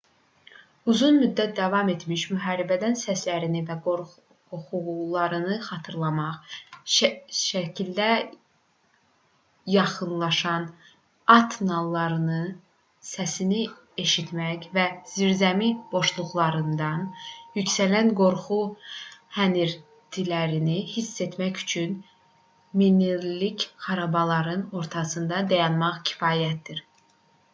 uzun müddət davam etmiş müharibələrin səslərini və qoxularını xatırlamaq səkilərdə yaxınlaşan at nallarının səsini eşitmək və zirzəmi boşluqlarından yüksələn qorxu hənirtilərini hiss etmək üçün minillik xarabalıqların ortasında dayanmaq kifayətdir